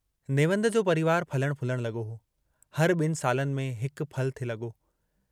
नेवंद जो परिवार फलण फूलण लॻो हो, हर ॿिनि सालनि में हिक फलु थे लॻो।